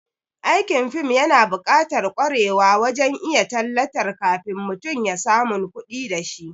Aikin fim yana bukatar kwarewa wajen iya tallatar kafin mutum ya samun kudi dashi